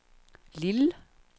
Lille